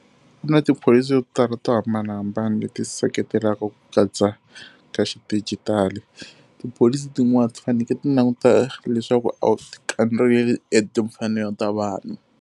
Ku na tipholisi yo tala to hambanahambana leti seketelaka ku katsa ka xidijitali. Tipholisi tin'wani ti fanekele ti languta leswaku a wu ti kandziyeli timfanelo ta vanhu.